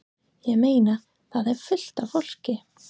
Ég meina. það er fullt af fólki.